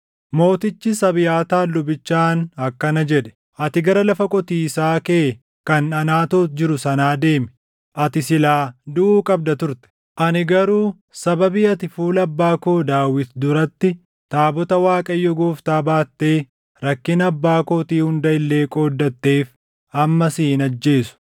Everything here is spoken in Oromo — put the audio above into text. Mootichis Abiyaataar lubichaan akkana jedhe; “Ati gara lafa qotiisaa kee kan Anaatoot jirtu sanaa deemi. Ati silaa duʼuu qabda turte; ani garuu sababii ati fuula abbaa koo Daawit duratti taabota Waaqayyo Gooftaa baattee rakkina abbaa kootii hunda illee qooddatteef amma si hin ajjeesu.”